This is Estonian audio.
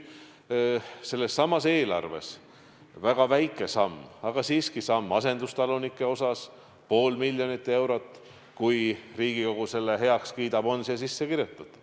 Sellessamas eelarves on väga väike samm, aga siiski samm asendustalunike heaks – pool miljonit eurot, kui Riigikogu selle heaks kiidab, on siia sisse kirjutatud.